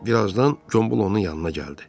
Bir azdan Gombul onun yanına gəldi.